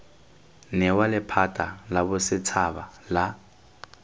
newa lephata la bosetshaba la